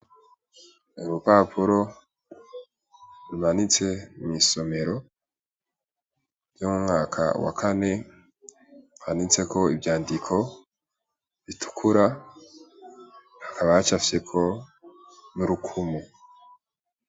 Urupapuro rumanitse mw'isomero ryo mu mwaka wa Kane, rwanditseko ivyandiko bitukura hakaba hacafyeko urukumu.